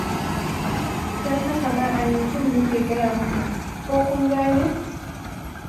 Don haka ma a yanzun muke gaya muku, ko kun gane?